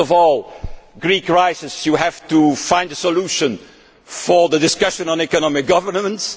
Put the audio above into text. them. First, regarding the Greek crisis, you have to find a solution for the discussion on economic governance.